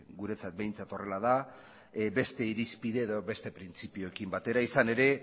guretzat behintzat horrela da beste irizpide edo beste printzipioekin batera izan ere